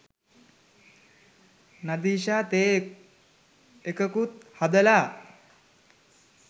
නදීෂා තේ එකකුත් හදලා